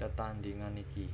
tetandhingan iki